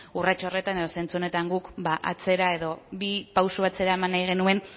urrats horretan edo zentzu horretan guk atzera edo bi pauso atzera eman nahi genuen